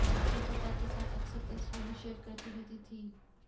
वह पिता के साथ अक्सर तस्वीरें शेयर करती रहती थीं